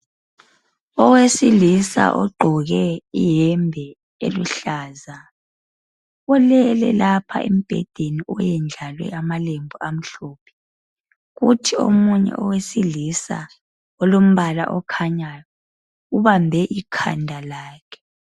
Owesilisa ogqoke iyembe eluhlaza. Ulele lapha embhedeni oyendlalwe amaphepha amhlophe. Kuthi oyedwa owesilisa olombala okhanyayo, ubambe ikhanda lakhe.